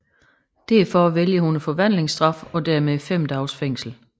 Derfor vælger hun forvandlingsstraffen og dermed 5 dages fængsel